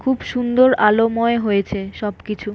খুব সুন্দর আলোময় হয়েছে সব কিছু ।